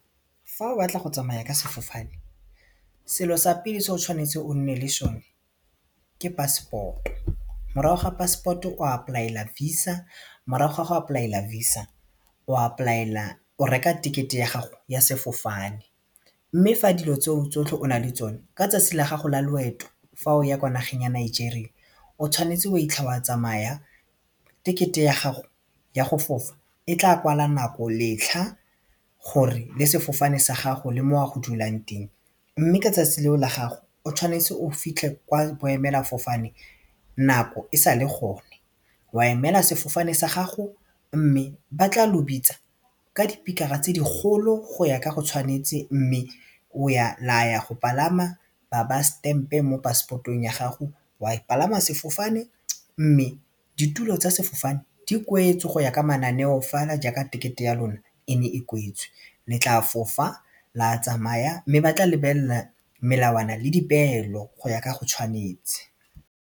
Fa o batla go tsamaya ka sefofane, selo sa pele se o tshwanetse o nne le sone ke passport-o, morago ga passport-o o apply-a VISA morago ga go apply-ela VISA o apply-ela o reka ticket-e ya gago ya sefofane mme fa dilo tseo tsotlhe o na le tsone ka tsatsi la gago la loeto fa o ya kwa nageng ya Nigeria o tshwanetse wa itlha wa tsamaya tekete ya gago ya go fofa e tla kwala nako letlha gore le sefofane sa gago le mo oya go dulang teng mme ka 'tsatsi leo la gago o tshwanetse o fitlhe kwa boemelafofane nako e sale gone wa emela sefofane sa gago mme ba tla lo bitsa ka dipikara tse digolo go ya ka go tshwanetse mme la ya go palama ba ba stamp-e mo passport-ong ya gago wa palama sefofane mme ditulo tsa sefofane di kwetswe go ya ka mananeo fela jaaka tekete ya lona e ne e kwetswe le tla fofa la tsamaya mme ba tla lebelela melawana le dipeelo go ya ka go tshwanetse.